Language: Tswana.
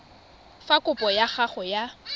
fa kopo ya gago ya